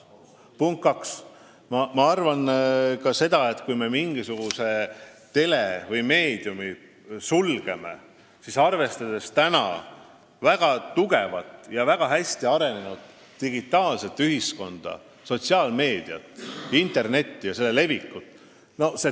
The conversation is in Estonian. Punkt kaks: ma arvan ka seda, et kui me sulgeme mingisuguse telekanali või meediumi, siis on tulemus praktiliselt nullilähedane, arvestades praegust väga hästi arenenud digitaalset ühiskonda, sotsiaalmeediat, internetti ja selle levikut.